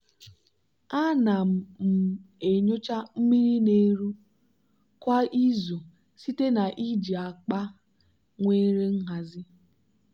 ana m um enyocha mmiri na-eru kwa izu site na iji akpa nwere nhazi.